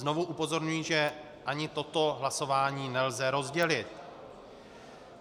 Znovu upozorňuji, že ani toto hlasování nelze rozdělit.